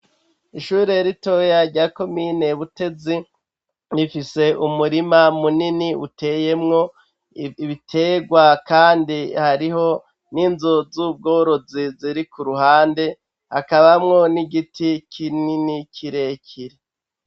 Ishure ritoyaryako miyinebutezi rifise umurima munini uteyemwo ibiterwa, kandi hariho n'inzo z'ubworozi ziri ku ruhande akabamwo n'igiti kinini kirekire.